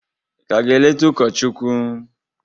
ị ka ga-eleta ụkọchukwu?